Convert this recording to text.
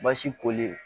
Baasi koli